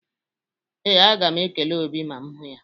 Ee, aga m ekele Obi ma m hụ ya.